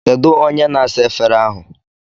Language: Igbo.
Kedu onye na-asa efere ahụ?